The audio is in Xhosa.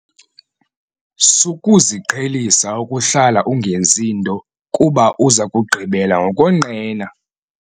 Sukuziqhelisa ukuhlala ungenzi nto kuba uza kugqibela ngokonqena.